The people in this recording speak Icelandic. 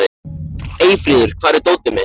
Eyfríður, hvar er dótið mitt?